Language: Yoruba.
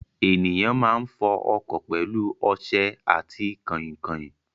Ènìyàn máa ń fọ ọkọ̀ pẹlú ọsẹ ati kain kain